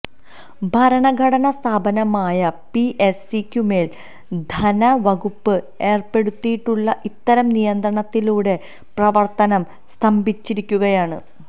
ഭരണഘടനാ സ്ഥാപനമായ പിഎസ്സിക്കുമേൽ ധനവകുപ്പ് ഏർപ്പെടുത്തിയിട്ടുള്ള ഇത്തരം നിയന്ത്രണത്തിലൂടെ പ്രവർത്തനം സ്തംഭിച്ചിരിക്കുകയാണ്